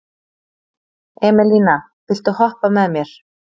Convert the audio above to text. Emelína, viltu hoppa með mér?